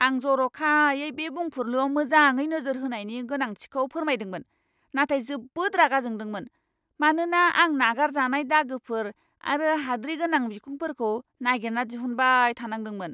आं जर'खायै बे बुंफुरलुआव मोजाङै नोजोर होनायनि गोनांथिखौ फोरमायदोंमोन नाथाय जोबोद रागा जोंदोंमोन, मानोना आं नागारजानाय दागोफोर आरो हाद्रि गोनां बिखंफोरखौ नागिरना दिहुनबाय थानांदोंमोन।